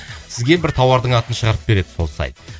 сізге бір тауардың атын шығарып береді сол сайт